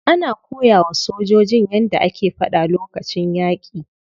Ana koyawa sojojin yadda ake fada lokacin yaki.